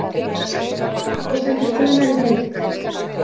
Skýrsla ríkisendurskoðunar í heild